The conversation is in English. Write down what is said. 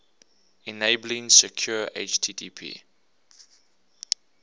enabling secure http